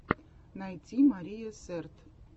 найти мария сэрт